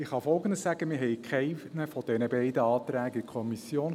Ich kann Folgendes sagen: Wir hatten keinen der beiden Anträge in der Kommission.